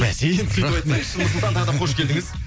бәсе енді сөйтіп айтсайшы нұрсұлтан тағы да қош келдіңіз